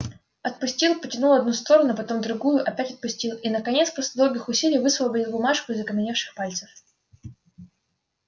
отпустил потянул одну сторону потом другую опять отпустил и наконец после долгих усилий высвободил бумажку из окаменевших пальцев